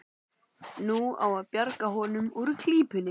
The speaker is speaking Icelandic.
Nú á að bjarga honum úr klípunni.